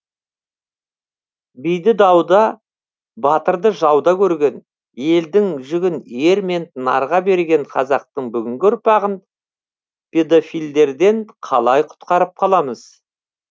биді дауда батырды жауда көрген елдің жүгін ер мен нарға берген қазақтың бүгінгі ұрпағын педофилдерден қалай құтқарып қаламыз